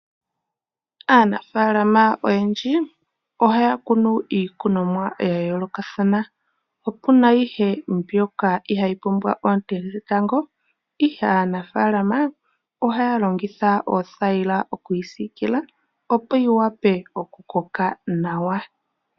Aanafaalama oyendji ohaya kunu iikunomwa yayoolokathana, opuna ihe mbyoka ihaayi pumbwa oonte dhetango, ihe aanafaalama ohaya longitha oothayila okwiisikila opo yi wape oku koka nawa.